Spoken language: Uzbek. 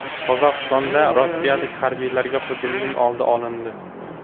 Qozog‘istonda rossiyalik harbiylarga hujumning oldi olindi.